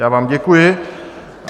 Já vám děkuji.